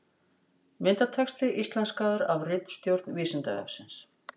Myndatexti íslenskaður af ritstjórn Vísindavefsins.